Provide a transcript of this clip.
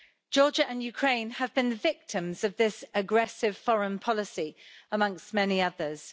Georgia and Ukraine have been victims of this aggressive foreign policy, amongst many others.